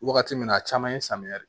Wagati min na a caman ye samiya de ye